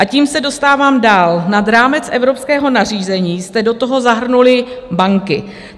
A tím se dostávám dál: nad rámec evropského nařízení jste do toho zahrnuli banky.